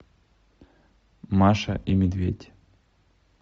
маша и медведь